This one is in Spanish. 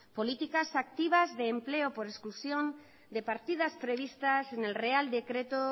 políticas activas de empleo por exclusión de partidas previstas en el real decreto